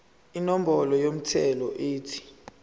inombolo yomthelo ethi